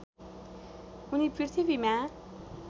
उनी पृथ्वीमा